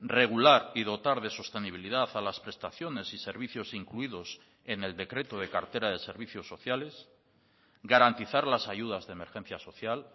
regular y dotar de sostenibilidad a las prestaciones y servicios incluidos en el decreto de cartera de servicios sociales garantizar las ayudas de emergencia social